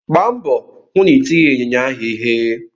Gba mbọ hụ na itighi ịnyịnya ahụ ịhe!